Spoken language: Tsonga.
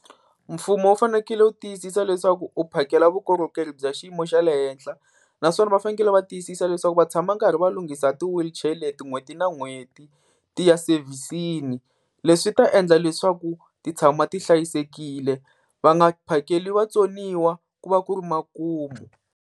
Mfumo wu fanekele wu tiyisisa leswaku u phakela vukorhokeri bya xiyimo xa le henhla, naswona va fanekele va tiyisisa leswaku va tshama karhi va lunghisa ti-wheelchair leti n'hweti na n'hweti ti ya sevhisini. Leswi ta endla leswaku ti tshama ti hlayisekile va nga phakeli vatsoniwa ku va ku ri makumu.